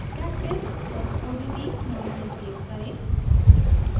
practice odt name से save करें